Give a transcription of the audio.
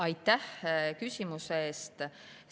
Aitäh küsimuse eest!